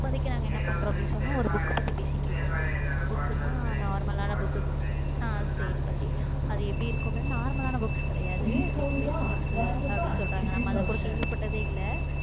இப்போதைக்கு நாங்க என்ன பண்றோம் அப்படின்னு சொன்னா ஒரு book பத்தி, பேசிட்டு இருக்கோம் book ன்னா normal ஆன book க்கு நான் செயல் பத்தி அது எப்படி இருக்கும்ன்னு normal ஆன books கிடையாது digitalized books அப்படின்னு சொல்றாங்க. நம்ம அதைக்கூட கேள்விப்பட்டதே இல்லை